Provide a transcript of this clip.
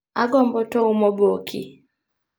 Agombo tong' moboki